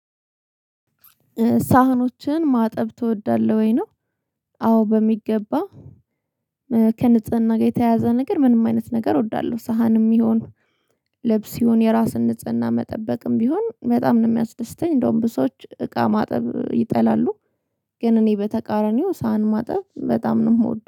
ሳህኖችን ማጠብ ትወዳለህ ወይ ነው? አዎ በሚገባ። ከንጽህና ጋር የተያዘ ነገር ምንም አይነት ነገር እወዳለሁ። ሳህንም ይሁን ልብስ ይሁን የራስን ንጽህና መጠበቅም ቢሆን በጣም ነው የሚያስደስተኝ። እንደውም ብዙ ሰዎች እቃ ማጠብ ይጠላሉ። ግን እኔ በተቃራኒው ሳህን ማጠብ በጣም ነው የምወደው